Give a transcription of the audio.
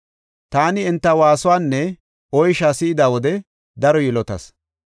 Taani enta waasuwanne oysha si7ida wode daro yilotas.